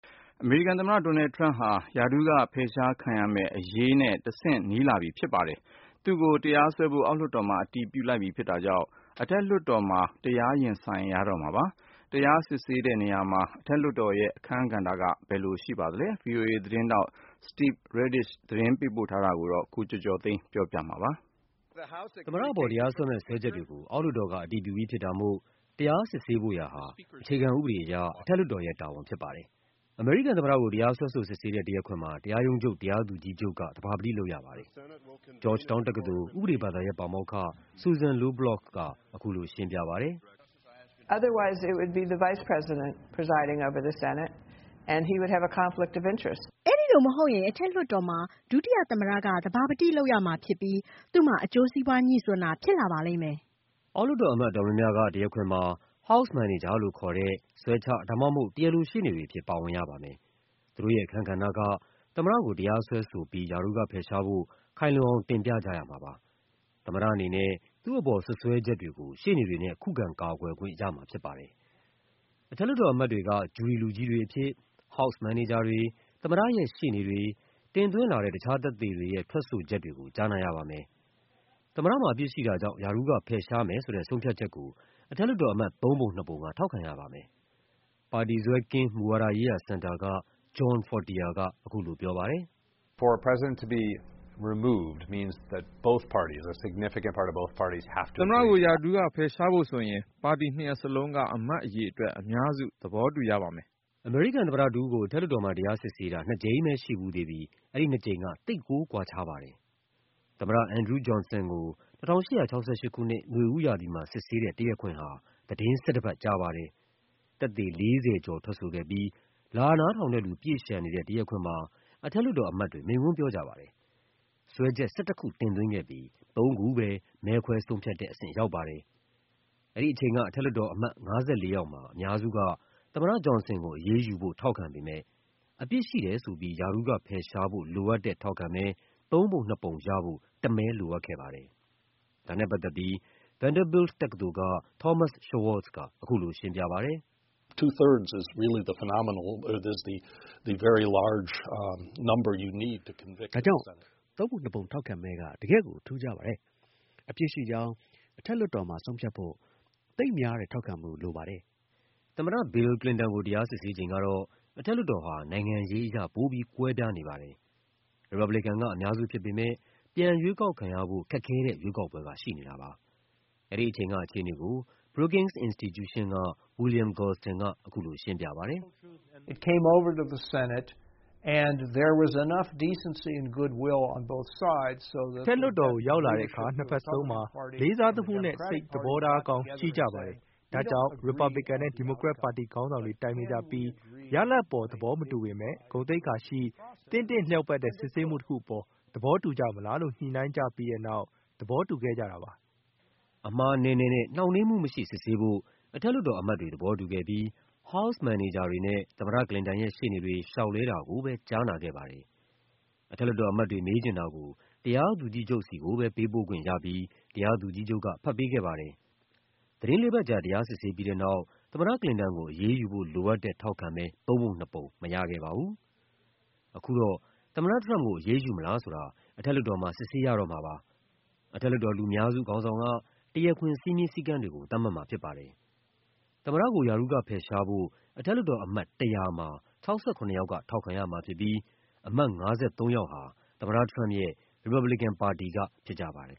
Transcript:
အမေရိကန်သမ္မတ ဒေါ်နယ်လ်ဒ် ထရမ့်ပ်ဟာ ရာထူးကဖယ်ရှားခံရမယ့်အရေးနဲ့ တဆင့်နီးလာပြီဖြစ်ပါတယ်။ သူ့ကိုတရားစွဲဖို့ အောက်လွှတ်တော်မှာ အတည်ပြုလိုက်ပြီဖြစ်တာကြောင့် အထက်လွှတ်တော်မှာ တရားရင်ဆိုင်ရတော့မှာပါ။ တရားစစ်ဆေးတဲ့နေရာမှာ အထက်လွှတ်တော်ရဲ့ အခန်းကဏ္ဍက ဘယ်လိုရှိပါသလဲ။ ဗွီအိုအေသတင်းထောက် Steve Redisch ရဲ့သတင်းလွှာကို ကိုကျော်ကျော်သိန်းက ပြောပြပါမယ်။ သမ္မတအပေါ် တရားစွဲမယ့် စွဲချက်တွေကို အောက်လွှတ်တော်က အတည်ပြုပြီးဖြစ်တာမို့ တရားစစ်ဆေးဖို့ရာဟာ အခြေခံ ဥပဒေအရ အထက်လွှတ်တော်ရဲ့တာဝန်ဖြစ်ပါတယ်။ သမ္မတမှာ အပြစ်ရှိတယ်လို့ ဆုံးဖြတ်ရင် ရာထူးက ဖယ်ရှားခံရမှာပါ။ အမေရိကန်သမ္မတကို တရားစွဲဆိုစစ်ဆေးတဲ့ တရားခွင်မှာ တရားရုံးချုပ် တရားသူကြီးချုပ်က သဘာပတိလုပ်ရပါတယ်။Georgetown တက္ကသိုလ် ဥပဒေဘာသာရပ် ပါမောက္ခ Susan Low Bloch က အခုလိုရှင်းပြပါတယ်။ “အဲဒီလိုမဟုတ်ရင် အထက်လွှတ်တော်မှာ ဒုတိယသမ္မတက သဘာပတိလုပ်ရမှာဖြစ်ပြီး သူ့မှာ အကျိုးစီးပွား ငြိစွန်းတာဖြစ်လာပါလိမ့်မယ်။” အောက်လွှတ်တော်အမတ် အတော်များများက တရားခွင်မှာ House Manager လို့ခေါ်တဲ့ စွဲချရှေ့နေတွေအဖြစ် ပါဝင်ရပါမယ်။ သူတို့ရဲ့အခန်းကဏ္ဍက သမ္မတကို တရားစွဲဆိုပြီး ရာထူးကဖယ်ရှားဖို့ ခိုင်လုံအောင် တင်ပြကြရမှာဖြစ်ပါတယ်။ သမ္မတအနေနဲ့ သူ့အပေါ် စွပ်စွဲချက်တွေကို ရှေ့နေတွေနဲ့ ခုခံကာကွယ်ခွင့် ရမှာဖြစ်ပါတယ်။ အထက်လွှတ်တော်အမတ်တွေက ဂျူရီလူကြီးတွေအဖြစ် House Manager တွေ၊ သမ္မတရဲ့ရှေ့နေတွေ၊ တင်သွင်းလာတဲ့ တခြား သက်သေတွေရဲ့ ထွက်ဆိုချက်တွေကို ကြားနာရပါမယ်။ သမ္မတမှာ အပြစ်ရှိတာကြောင့် ရာထူးကဖယ်ရှားမယ်ဆိုတဲ့ ဆုံးဖြတ် ချက်ကို အထက်လွှတ်တော်အမတ် ၃ ပုံ ၂ ပုံက ထောက်ခံရပါမယ်။ပါတီစွဲကင်း မူဝါဒရေးရာစင်တာက John Fortier က အခုလိုပြောပါတယ်။ “သမ္မတကို ရာထူးကဖယ်ရှားဖို့ဆိုရင် ပါတီနှစ်ရပ်စလုံးက အမတ်အရေအတွက် အများစုက သဘောတူရပါမယ်။” အမေရိကန်သမ္မတတဦးကို အထက်လွှတ်တော်မှာ တရားစစ်ဆေးတာ နှစ်ကြိမ်ပဲ ရှိဖူးသေးပြီး အဲဒီနှစ်ကြိမ်က သိပ်ကိုကွာခြားပါတယ်။ သမ္မတ Andrew Johnson ကို ၁၈၆၈ ခုနှစ်၊ နွေဦးရာသီမှာ စစ်ဆေးတဲ့ တရားခွင်ဟာ သီတင်း ၁၁ ပတ်ကြာပါတယ်။ သက်သေ ၄၀ ကျော်ထွက်ဆိုခဲ့ပြီး လာနားထောင်တဲ့လူ ပြည့်လျှံနေတဲ့ တရားခွင်မှာ အထက်လွှတ်တော်အမတ်တွေ မိန့်ခွန်းပြောကြပါတယ်။ စွဲချက် ၁၁ ခု တင်သွင်းခဲ့ပြီး သုံးခုပဲ မဲခွဲဆုံးဖြတ်တဲ့အဆင့် ရောက်ပါတယ်။ အထက်လွှတ်တော်အမတ် ၅၄ ယောက်မှာ အများစုက သမ္မတ Johnson ကိုအရေးယူဖို့ ထောက်ခံပေမယ့် အပြစ်ရှိတယ်ဆိုပြီး ရာထူးကဖယ်ရှားဖို့လိုအပ်တဲ့ ထောက်ခံမဲ ၃ ပုံ ၂ ပုံရဖို့ တမဲလိုခဲ့ပါတယ်။ ဒါနဲ့ပတ်သက်ပြီး Vanderbilt တက္ကသိုလ်က Thomas Schwartz က အခုလိုရှင်းပြပါတယ်။ “ဒါကြောင့် ၃ ပုံ ၂ ပုံထောက်ခံမဲက တကယ့်ကို ထူးခြားပါတယ်။ အပြစ်ရှိကြောင်း အထက်လွှတ်တော်မှာ ဆုံးဖြတ်ဖို့ သိပ်များတဲ့ထောက်ခံမှု လိုပါတယ်။” သမ္မတ Bill Clinton ကို တရားစစ်ဆေးချိန်ကတော့ အထက်လွှတ်တော်ဟာ နိုင်ငံရေးအရ ပိုပြီးကွဲပြားပါတယ်။ ရီပတ်ဘလီကန် က အများစုဖြစ်ပေမယ့် ပြန်ရွေးကောက်ခံရဖို့ ခက်ခဲတဲ့ရွေးကောက်ပွဲက ရှိနေတာပါ။ အဲဒီအချိန်က အခြေအနေကို Brookings Institution က William Galston က အခုလိုရှင်းပြပါတယ်။ “အထက်လွှတ်တော်ကို ရောက်လာတဲ့အခါ နှစ်ဘက်လုံးမှာ လေးစားသမှုနဲ့ စိတ်သဘောထားကောင်း ရှိကြပါ တယ်။ ဒါကြောင့် ရီပတ်ဘလီကန်နဲ့ ဒီမိုကရက်ပါတီ ခေါင်းဆောင်တွေ တိုင်ပင်ကြပြီး ရလဒ်ပေါ် သဘောမတူပေမယ့် ဂုဏ်သိက္ခာ ရှိ သင့်တင့်လျောက်ပတ်တဲ့ စစ်ဆေးမှုတခုပေါ် သဘောတူကြမလားလို့ ညှိကြပြီးတဲ့နောက် သဘောတူခဲ့ကြတာပါ။” အမှားနည်းနည်းနဲ့ နှောင့်နှေးမှုမရှိ စစ်ဆေးဖို့ အထက်လွှတ်တော်အမတ်တွေ သဘောတူခဲ့ပြီး House Manager တွေနဲ့ သမ္မတ ကလင်တန်ရဲ့ ရှေ့နေတွေ လျှောက်လဲတာကိုပဲ ကြားနာခဲ့ပါတယ်။ အထက်လွှတ်တော်အမတ်တွေ မေးချင်တာကို တရားသူကြီးချုပ်ဆီကိုပဲ ပေးပို့ခွင့်ရပြီး တရားသူကြီးချုပ်က ဖတ်ပေးခဲ့ပါတယ်။ သီတင်းလေးပတ်ကြာ တရားစစ်ဆေးပြီးတဲ့နောက် သမ္မတကလင်တန်ကို အရေးယူဖို့လိုအပ်တဲ့ ထောက်ခံမဲ ၃ ပုံ ၂ ပုံ မရခဲ့ပါဘူး။ အခုတော့ သမ္မတထရမ့်ပ်ကို အရေးယူမလားဆိုတာ အထက်လွှတ်တော်မှာ စစ်ဆေးရတော့မှာပါ။ အထက်လွှတ်တော် လူများစု ခေါင်းဆောင်က တရားခွင် စည်းမျဉ်းစည်းကမ်းတွေကို သတ်မှတ်မှာဖြစ်ပါတယ်။ သမ္မတကို ရာထူးကဖယ်ရှားဖို့ အထက်လွှတ်တော်အမတ် ၁၀၀ မှာ ၆၇ ယောက်က ထောက်ခံရမှာဖြစ်ပြီး အမတ် ၅၃ ယောက် ဟာ သမ္မတထရမ့်ပ်ရဲ့ ရီပတ်ဘလီကန်ပါတီက ဖြစ်ကြပါတယ်